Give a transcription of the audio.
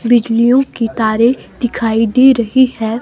बिजलियों की तारें दिखाई दे रही है।